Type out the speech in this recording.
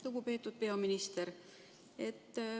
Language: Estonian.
Lugupeetud peaminister!